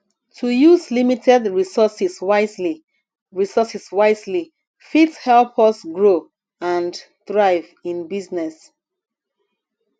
to use limited resources wisely resources wisely fit help us grow and thrive in business